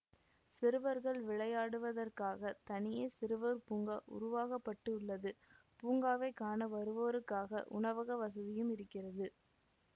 சிறுவர்கள் விளையாடுவதற்காகத் தனியே சிறுவர் பூங்கா உருவாகப்பட்டு உள்ளது பூங்காவைக் காண வருவோருக்காக உணவக வசதியும் இருக்கிறது